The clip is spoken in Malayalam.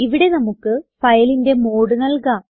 ഇവിടെ നമുക്ക് ഫയലിന്റെ മോഡ് നൽകാം